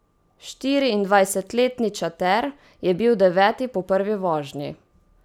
Štiriindvajsetletni Čater je bil deveti po prvi vožnji.